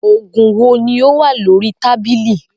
Oògùn wo ni ó wà lórí tábìlì